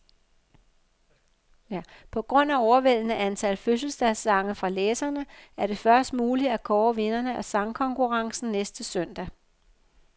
På grund af overvældende antal fødselsdagssange fra læserne, er det først muligt at kåre vinderne af sangkonkurrencen næste søndag.